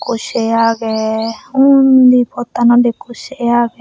ekkho say agey undi pottanot ekkho sey agey.